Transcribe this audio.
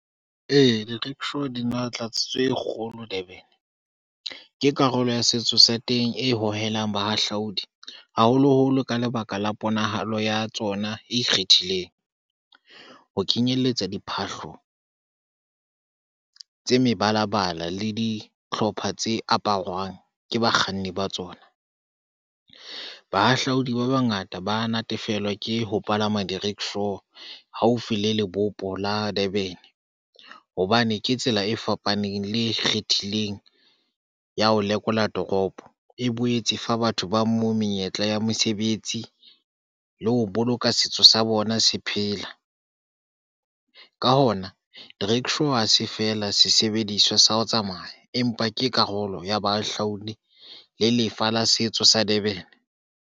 Ee, di-rickshaw di matla tse kgolo Durban. ke karolo ya setso sa teng, e hohelang bahahlaodi, haholoholo ka lebaka la ponahalo ya tsona e ikgethileng, ho kenyelletsa diphahlo tse mebalabala le dihlopha tse aparwang ke bakganni ba tsona. Bahahlaodi ba bangata ba natefelwa ke ho palama di-rickshaw haufi le lebopo la Durban hobane ke tsela e fapaneng le kgethileng ya ho lekola toropo. E boetse e fa batho ba moo menyetla ya mesebetsi le ho boloka setso sa bona se phela. Ka hona rickshaw ha se feela sesebediswa sa ho tsamaya, empa ke karolo ya bahahlaudi le lefa la setso sa Durban.